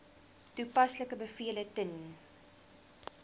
toepaslike bevele ten